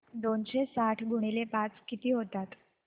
दोनशे साठ गुणिले पाच किती होतात